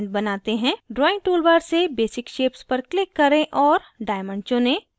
drawing toolbar से basic shapes पर click करें और diamond चुनें